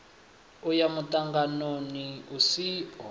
u ya muṱanganoni u siho